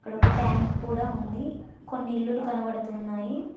ఇక్కడ ఒక ట్యాంకు కూడా ఉంది కొన్ని ఇల్లులు కనబడుతున్నాయి.